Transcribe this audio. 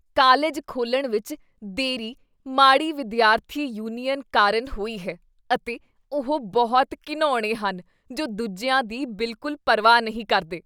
College ਖੋਲ੍ਹਣ ਵਿੱਚ ਦੇਰੀ ਮਾੜੀ ਵਿਦਿਆਰਥੀ ਯੂਨੀਅਨ ਕਾਰਨ ਹੋਈ ਹੈ ਅਤੇ ਉਹ ਬਹੁਤ ਘਿਣਾਉਣੇ ਹਨ ਜੋ ਦੂਜਿਆਂ ਦੀ ਬਿਲਕੁਲ ਪਰਵਾਹ ਨਹੀਂ ਕਰਦੇ ।